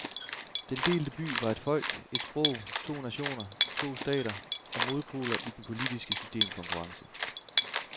Den delte by var et folk, et sprog, to nationer, to stater, og modpoler i den politiske systemkonkurrence.